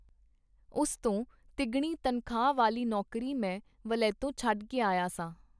ਉਸ ਤੋਂ ਤਿੱਗਣੀ ਤਨਖਾਹ ਵਾਲੀ ਨੌਕਰੀ ਮੈਂ ਵਲੈਤੋਂ ਛਡ ਕੇ ਆਇਆ ਸਾਂ.